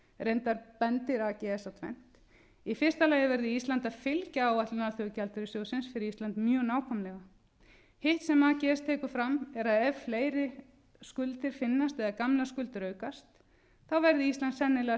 reyndar bendir ags á tvennt í fyrsta lagi verði ísland að fylgja áætlun alþjóðagjaldeyrissjóðsins fyrir ísland mjög nákvæmlega hitt sem ags tekur fram er að ef fleiri skuldir finnast eða gamlar skuldir aukast þá verði ísland sennilega að